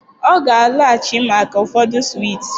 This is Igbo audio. Ọ ga-alọghachi maka ụfọdụ swiiti